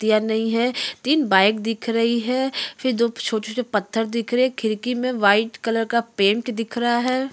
नहीं है। तीन बाइक दिख रही हैं फिर दो छोटे छोटे पत्थर दिख रहे हैं। खिड़की में वाइट कलर का पेंट दिख रहा है।